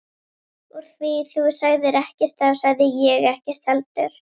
Úr því þú sagðir ekkert þá sagði ég ekkert heldur.